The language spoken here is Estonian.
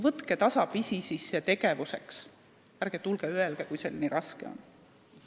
Võtke tasapisi tegevusi ette ning ärge tulge ja öelge, kui see nii raske on.